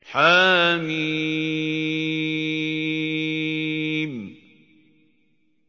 حم